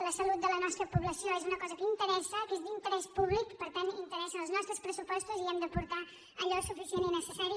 la salut de la nostra població és una cosa que interessa que és d’interès públic per tant interessa als nostres pressupostos i hi hem d’aportar allò suficient i necessari